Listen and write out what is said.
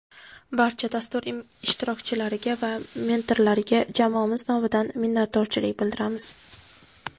Barcha dastur ishtirokchilariga va mentorlariga jamoamiz nomidan minnatdorchilik bildiramiz.